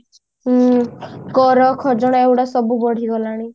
ହୁଁ କର ଖଜଣା ଏଗୁଡା ସବୁ ବଢି ଗଲାଣି